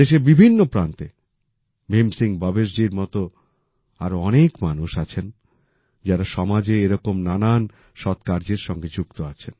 দেশের বিভিন্ন প্রান্তে ভীম সিং ভবেশ জির মত আরও অনেক মানুষ আছেন যারা সমাজে এরকম নানান সৎ কার্যের সাথে যুক্ত